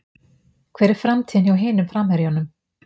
Hver er framtíðin hjá hinum framherjunum?